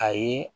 A ye